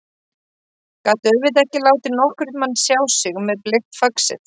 Gat auðvitað ekki látið nokkurn mann sjá sig með bleikt faxið.